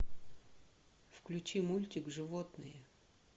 включи мультик животные